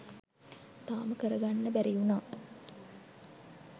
තාම කරගන්න බැරිවුණා.